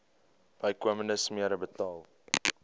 bykomende smere betaal